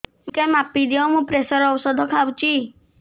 ଟିକେ ମାପିଦିଅ ମୁଁ ପ୍ରେସର ଔଷଧ ଖାଉଚି